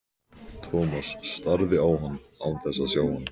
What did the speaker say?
Thomas starði á hann án þess að sjá hann.